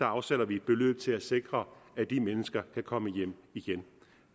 afsætter vi et beløb til at sikre at de mennesker kan komme hjem igen